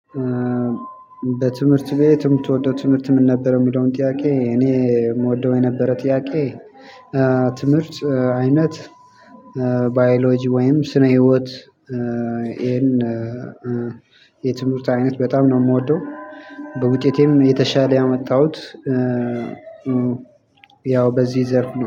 በትምህርት ቤት የምትወደው ትምህርት ምን ነበር? የሚለውን ጥያቄ እኔ የምወደው የነበረ ጥያቄ ትምህርት አይነት ባዮሎጂ ወይም ስነ ህይወት። ይሄን የትምህርት አይነት በጣም ነው የምወደው። በውጤቴም የተሻለ ያመጣሁት። ያው በዚህ ዘርፍ ነው